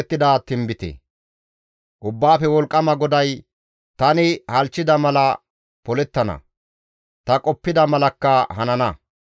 Ubbaafe Wolqqama GODAY, «Tani halchchida mala polettana; ta qoppida malakka hanana.